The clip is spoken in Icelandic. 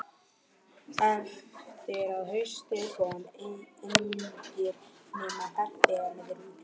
Eftir að haustaði komu engir, nema farþegar með rútunni.